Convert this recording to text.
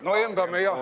No embame jah.